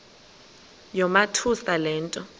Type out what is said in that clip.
yamothusa le nto